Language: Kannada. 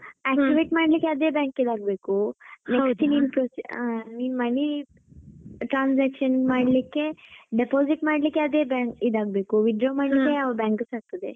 Activate ಮಾಡ್ಲಿಕ್ಕೆ ಅದೇ bank ಗೆ ಆಗ್ಬೇಕು. next ನೀನು money money transaction ಮಾಡ್ಲಿಕ್ಕೆ deposit ಮಾಡಲಿಕ್ಕೆ ಅದೇ bank ಇದಾಗ್ಬೇಕು withdraw ಮಾಡ್ಲಿಕ್ಕೆ ಯಾವ bank ಸ ಆಗ್ತದೆ.